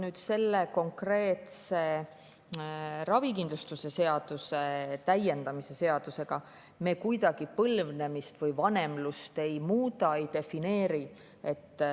Nüüd selle konkreetse ravikindlustuse seaduse täiendamise seadusega me kuidagi põlvnemist või vanemlust ei muuda ega defineeri.